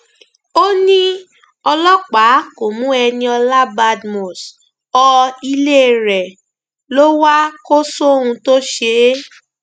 ó ní ọlọpàá kó mú eniola badmus ọ ilé rẹ ló wá kó sóhun tó ṣe é